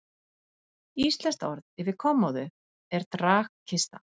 Íslenskt orð yfir kommóðu er dragkista.